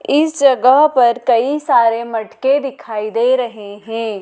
इस जगह पर कई सारे मटके दिखाई दे रहे हैं।